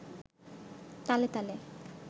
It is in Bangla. তালে তালে